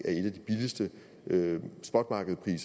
eneste man